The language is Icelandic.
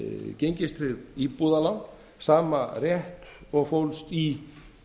gengistryggð íbúðalán sama rétt og fólst í